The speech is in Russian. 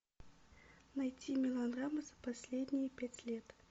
найти мелодрамы за последние пять лет